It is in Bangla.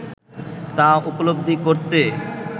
তা উপলব্ধি করতে